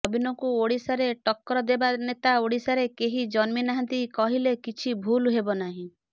ନବୀନଙ୍କୁ ଓଡ଼ିଶାରେ ଟକ୍କର ଦେବା ନେତା ଓଡ଼ିଶାରେ କେହି ଜନ୍ମି ନାହାନ୍ତି କହିଲେ କିଛି ଭୁଲ ହେବ ନାହିଁ